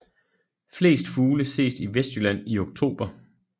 Flest fugle ses i Vestjylland i oktober